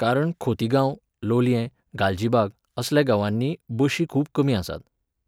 कारण खोतीगांव, लोलयें, गालजीबाग असल्या गांवांनी बशी खूब कमी आसात.